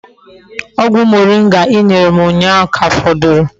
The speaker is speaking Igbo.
Ogwu moringa I nyere m unyahu ka foduru